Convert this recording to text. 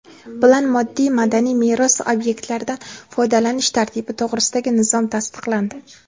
bilan Moddiy madaniy meros obyektlaridan foydalanish tartibi to‘g‘risidagi nizom tasdiqlandi.